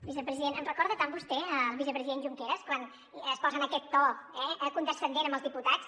vicepresident em recorda tant vostè al vicepresident junqueras quan es posa en aquest to eh condescendent amb els diputats